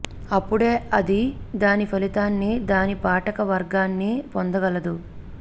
అప్పుడే అది దాని ఫలితాన్ని దాని పాఠక వర్గాన్నీ పొందగలదు